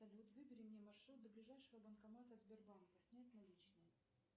салют выбери мне маршрут до ближайшего банкомата сбербанка снять наличные